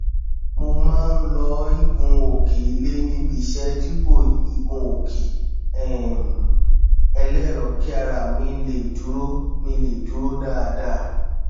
mo má n lo ìgunòkè ilé níbi iṣẹ dípò igunòkè um ẹlẹrọ kí ara mi lè dúró mi lè dúró dáadáa